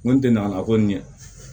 N ko n tɛ ngalala ko nin ɲɛ